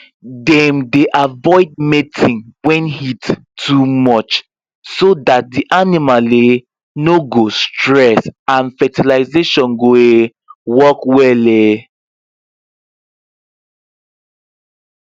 dem dey avoid mating when heat too much so that the animal um no go stress and fertilisation go um work well um